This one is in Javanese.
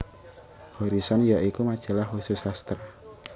Horison ya iku majalah khusus sastra